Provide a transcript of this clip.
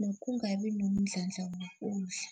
nokungabi nomdlandla wokudla.